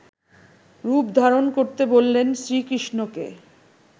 রূপ ধারণ করতে বললেন শ্রীকৃষ্ণকে